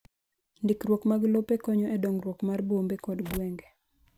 Ndikruok mar lope konyo e dongruok mar bombe kod gwenge.